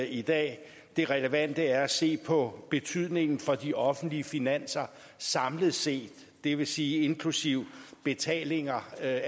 i dag det relevante er at se på betydningen for de offentlige finanser samlet set det vil sige inklusive betalinger af